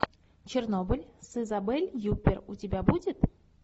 чернобыль с изабель юппер у тебя будет